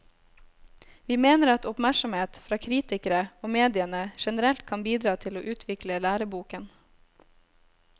Vi mener at oppmerksomhet fra kritikere og mediene generelt kan bidra til å utvikle læreboken.